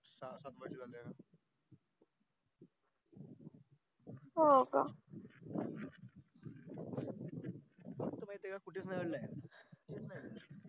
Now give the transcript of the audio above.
हो का तुला माहित ये का